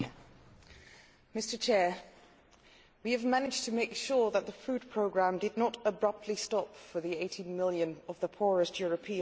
Mr President, we have managed to make sure that the food programme did not abruptly stop for the 18 million poorest Europeans who depend on it.